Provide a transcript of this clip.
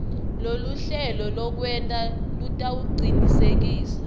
loluhlelo lwekwenta lutawucinisekisa